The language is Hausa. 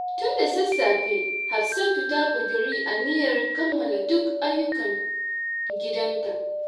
Tun da sassafe, Hafsatu ta ƙudiri aniyar kammala duk ayyukan gidanta.